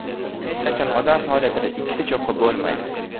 Hech qachon odam faoliyatida ikkita cho‘qqi bo‘lmaydi.